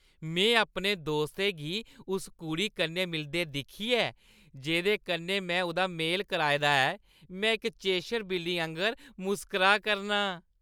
में अपने दोस्तै गी उस कुड़ी कन्नै मिलदे दिक्खियै जेह्दे कन्नै में उʼदा मेल कराए दा ऐ, में इक चेशर बिल्ली आंह्‌गर मुस्कराऽ करनां।